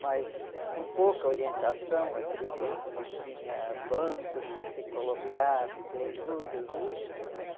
Mas com pouca orientação, aquele tempo não tinha bancos para se colocar, para ter juros, né?